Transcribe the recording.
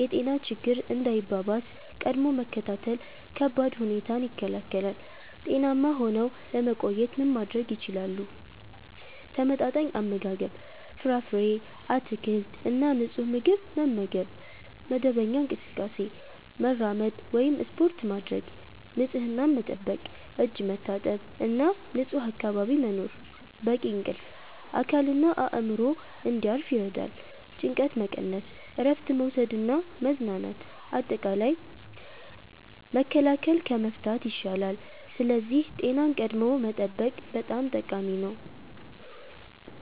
የጤና ችግኝ እንዳይባባስ – ቀድሞ መከታተል ከባድ ሁኔታን ይከላከላል። ጤናማ ሆነው ለመቆየት ምን ማድረግ ይችላሉ? ተመጣጣኝ አመጋገብ – ፍራፍሬ፣ አትክልት እና ንጹህ ምግብ መመገብ። መደበኛ እንቅስቃሴ – መራመድ ወይም ስፖርት ማድረግ። ንፁህነት መጠበቅ – እጅ መታጠብ እና ንጹህ አካባቢ መኖር። በቂ እንቅልፍ – አካልና አእምሮ እንዲያርፍ ይረዳል። ጭንቀት መቀነስ – እረፍት መውሰድ እና መዝናናት። አጠቃላይ፣ መከላከል ከመፍታት ይሻላል፤ ስለዚህ ጤናን ቀድሞ መጠበቅ በጣም ጠቃሚ ነው።